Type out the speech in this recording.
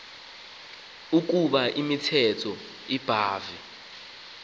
ukoba imithetho ebhahve